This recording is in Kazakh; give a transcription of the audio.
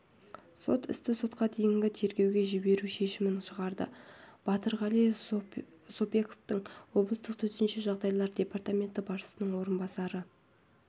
сот істі сотқа дейінгі тергеуге жіберу шешімін шығарды батырғали сопбеков облыстық төтенше жағдайлар департаменті басшысының орынбасары